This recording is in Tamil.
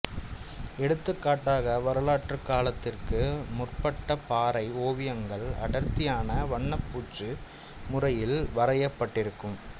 எடுத்துக் காட்டாக வரலாற்றுக் காலத்திற்கு முற்பட்ட பாறை ஓவியங்கள் அடர்த்தியான வண்ணப் பூச்சு முறையில் வரையப்பட்டிருக்கும்